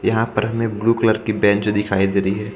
यहाँ पर हमें ब्लू कलर की बेंच दिखाई दे रही हे पी--